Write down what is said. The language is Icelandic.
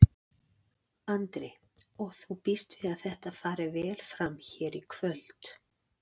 Andri: Og þú býst við að þetta fari vel fram hérna í kvöld?